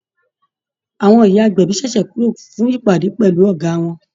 Àwọn ìyá agbẹ̀bí ṣẹ̀ṣẹ̀ kúrò fún ìpàdé pẹ̀lú Ọ̀gá wọn ni